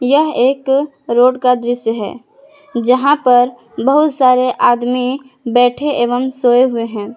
यह एक रोड का दृश्य है यहां पर बहुत सारे आदमी बैठे एवं सोए हुए हैं।